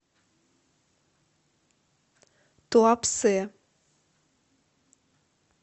туапсе